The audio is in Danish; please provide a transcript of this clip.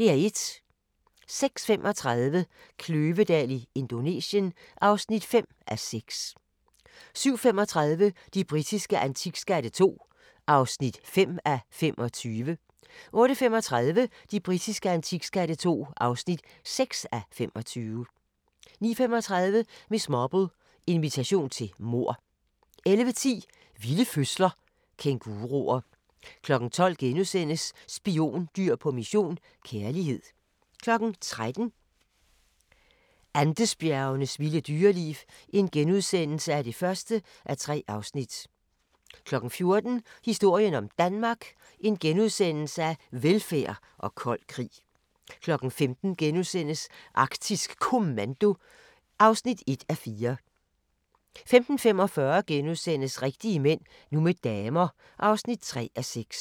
06:35: Kløvedal i Indonesien (5:6) 07:35: De britiske antikskatte II (5:25) 08:35: De britiske antikskatte II (6:25) 09:35: Miss Marple: Invitation til mord 11:10: Vilde fødsler – Kænguruer 12:00: Spiondyr på mission - kærlighed * 13:00: Andesbjergenes vilde dyreliv (1:3)* 14:00: Historien om Danmark: Velfærd og kold krig * 15:00: Arktisk Kommando (1:4)* 15:45: Rigtige mænd – nu med damer (3:6)*